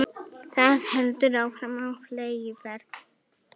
Það heldur áfram á fleygiferð